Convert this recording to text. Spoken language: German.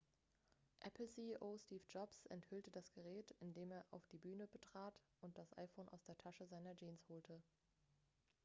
apple-ceo steve jobs enthüllte das gerät indem er die bühne betrat und das iphone aus der tasche seiner jeans holte